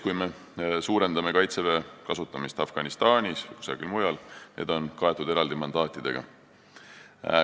Kui me suurendame Kaitseväe kasutamist näiteks Afganistanis või kusagil mujal, siis need on kaetud eraldi mandaatidega.